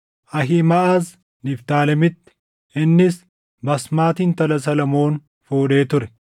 Ahiimaʼaz, Niftaalemitti; innis Baasmati intala Solomoon fuudhee ture;